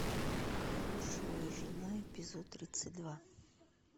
хорошая жена эпизод тридцать два